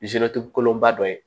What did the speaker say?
kolon ba dɔ ye